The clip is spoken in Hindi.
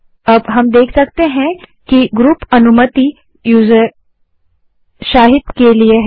अब हम देख सकते हैं कि ग्रुप अनुमति यूज़र शाहिद के लिए है